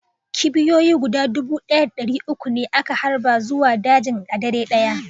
Kipiyoyi guda dubu ɗaya da ɗari uku ne aka harba zuwa dajin a dare ɗaya